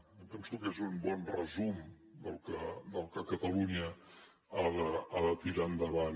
jo penso que és un bon resum del que catalunya ha de tirar endavant